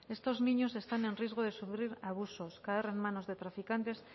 estos niños están en riesgo de sufrir abusos caer en manos de traficantes